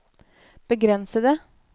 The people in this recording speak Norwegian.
begrensede